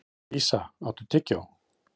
Dísa, áttu tyggjó?